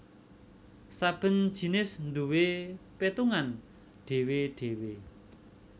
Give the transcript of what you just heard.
Saben jinis nduwé pétungané dhéwé dhéwé